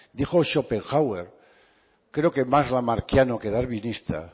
dijo schopenhauer creo que más lamarckiana que darwinista